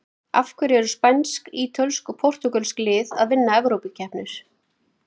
Af hverju eru spænsk, ítölsk og portúgölsk lið að vinna evrópukeppnir?